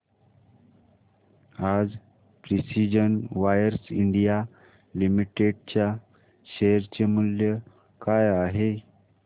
आज precision wires India limited च्या share चे मूल्य काय आहे